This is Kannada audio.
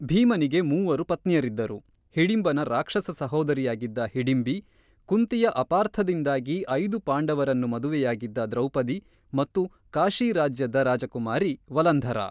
ಭೀಮನಿಗೆ ಮೂವರು ಪತ್ನಿಯರಿದ್ದರು - ಹಿಡಿಂಬನ ರಾಕ್ಷಸ ಸಹೋದರಿಯಾಗಿದ್ದ ಹಿಡಿಂಬಿ, ಕುಂತಿಯ ಅಪಾರ್ಥದಿಂದಾಗಿ ಐದು ಪಾಂಡವರನ್ನು ಮದುವೆಯಾಗಿದ್ದ ದ್ರೌಪದಿ, ಮತ್ತು ಕಾಶಿ ರಾಜ್ಯದ ರಾಜಕುಮಾರಿ ವಲಂಧರಾ.